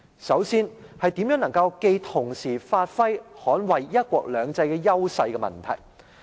首先，是如何能夠既同時發揮、又能捍衞"一國兩制"優勢的問題。